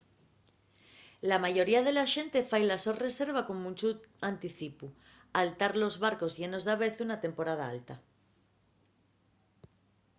la mayoría de la xente fai la so reserva con munchu anticipu al tar los barcos llenos davezu na temporada alta